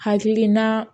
Hakilina